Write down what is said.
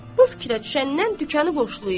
Bu fikrə düşəndən dükanı boşlayıb.